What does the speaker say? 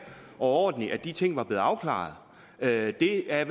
og ordentligt at de ting var blevet afklaret det er i al